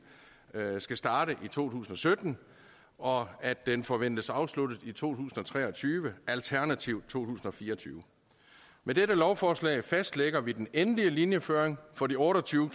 skal starte i to tusind og sytten og at den forventes afsluttet i to tusind og tre og tyve alternativt to tusind og fire og tyve med dette lovforslag fastlægger vi den endelige linjeføring for de otte og tyve